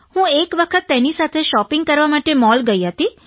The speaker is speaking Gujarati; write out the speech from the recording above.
હું એક વખત તેની સાથે શૉપિંગ કરવા માટે મૉલ ગઇ હતી